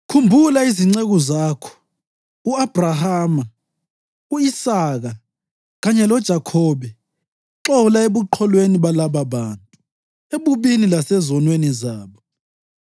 Khumbula izinceku zakho u-Abhrahama, u-Isaka kanye loJakhobe. Xola ebuqholweni balababantu, ebubini lasezonweni zabo.